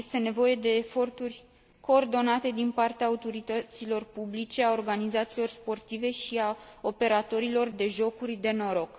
Este nevoie de eforturi coordonate din partea autorităților publice, a organizațiilor sportive și a operatorilor de jocuri de noroc.